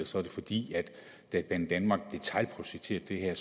så er det fordi det da banedanmark detailprojekterede